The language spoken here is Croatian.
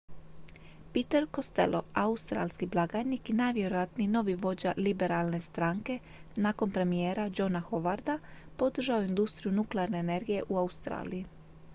peter costello australski blagajnik i najvjerojatniji novi vođa liberalne stranke nakon premijera johna howarda podržao je industriju nuklearne energije u australiji